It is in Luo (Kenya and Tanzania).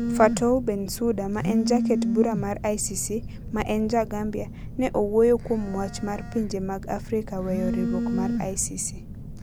Fatou Bensouda, ma en jaket bura mar ICC, ma en ja Gambia, ne owuoyo kuom wach mar pinje mag Afrika weyo riwruok mar ICC.